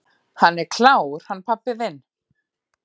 """Hann er klár, hann pabbi þinn."""